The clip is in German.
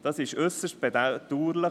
Das ist äusserst bedauerlich.